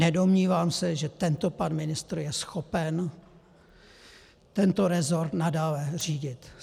Nedomnívám se, že tento pan ministr je schopen tento rezort nadále řídit.